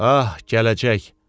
Ah, gələcək!